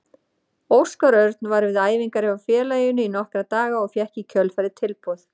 Óskar Örn var við æfingar hjá félaginu í nokkra daga og fékk í kjölfarið tilboð.